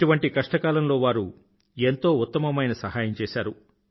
ఇటువంటి కష్టకాలంలో వారు ఎంతో ఉత్తమమైన సహాయం చేశారు